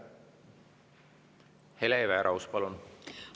Hele Everaus, palun!